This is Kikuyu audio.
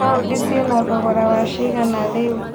paũndi cĩe na thogora wa cigana rĩu